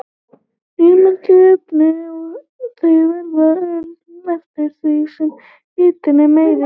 Ryðmyndun er efnahvarf og þau verða örari eftir því sem hitinn er meiri.